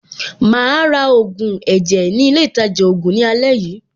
Màá ra ògùn ẹ̀jẹ̀ ní ilé-ìtajà-ògùn ní àlẹ́ yìí.